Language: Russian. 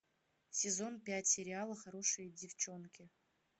сезон пять сериала хорошие девченки